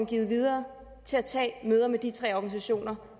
givet videre til at tage møder med de tre organisationer